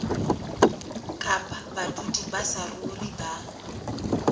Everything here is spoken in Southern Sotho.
kapa badudi ba saruri ba